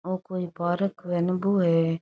औ कोई पार्क होव नी बो है।